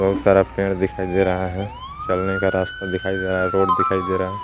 बहुत सारा पेड़ दिखाई दे रहा है चलने का रास्ता दिखाई दे रहा है रोड दिखाई दे रहा है.